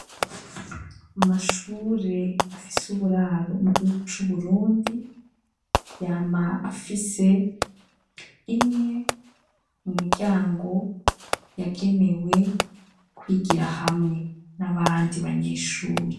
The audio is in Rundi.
Amashure afise uburaro mu gihugu c'uburundi yama afise imwe mu miryango yagenewe kwigira hamwe n'abandi banyeshuri.